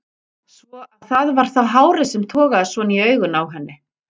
Svo að það var þá hárið sem togaði svona í augun á henni!